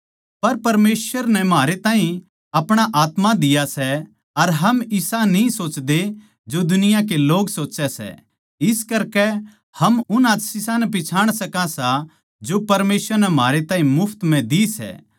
पर परमेसवर नै म्हारे ताहीं अपणा आत्मा दिया सै अर हम इसा न्ही सोचते जो दुनिया के लोग सोच्चै सै इस करकै हम उन आशीषां नै पिच्छाण सका सां जो परमेसवर नै म्हारे ताहीं मुफ्त म्ह दी सै